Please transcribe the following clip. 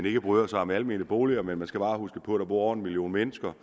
ikke bryder sig om almene boliger men man skal bare huske på at der bor over en million mennesker